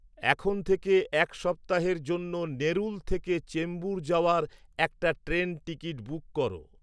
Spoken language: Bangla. এখন থেকে এক সপ্তাহেইর জন্য নেরুল থেকে চেম্বুর যাওয়ার একটা ট্রেন টিকিট বুক কর